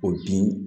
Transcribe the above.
O bin